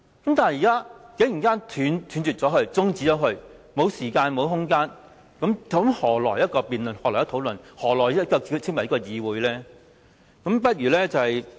可是，現時他竟然想中止辯論，不再給予時間和空間，那又何來辯論，怎可以再稱為議會呢？